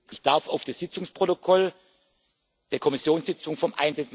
Ich darf auf das Sitzungsprotokoll der Kommissionssitzung vom